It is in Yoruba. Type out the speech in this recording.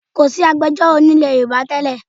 Kòsí iṣẹ́ agbẹjọ́rò ní ilẹ̀ Yorùbá tẹ́lẹ̀